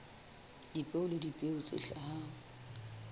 dipeo le dipeo tse hlahang